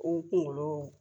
O kunkolo